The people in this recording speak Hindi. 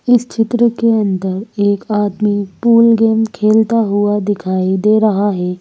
इस चित्र के अंदर एक आदमी पूल गेम खेलता हुआ दिखाई दे रहा है।